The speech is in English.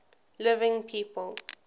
living people